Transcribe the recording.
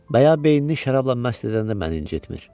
Və ya beynini şərabla məst edəndə məni incitmir.